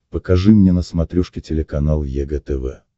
покажи мне на смотрешке телеканал егэ тв